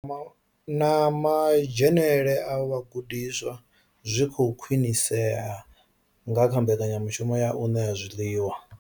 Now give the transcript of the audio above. Na madzhenele a vhagudiswa zwi khou khwinisea nga mbekanya mushumo ya u ṋea zwiḽiwa.